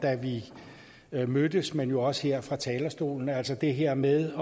da vi mødtes men jo også her fra talerstolen altså det her med